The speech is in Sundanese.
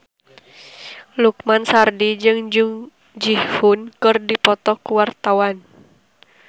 Lukman Sardi jeung Jung Ji Hoon keur dipoto ku wartawan